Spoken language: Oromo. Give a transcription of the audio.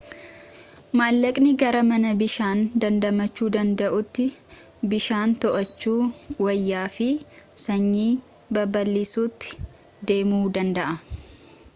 mallaqnii gara mana bishaan dandamachu danda'uutti bishaan to'achuu wayyaa fi sanyii babal'isuutti deemuu danda'a